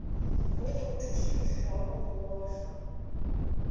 go kgothotšwe dihlogo go ohlwa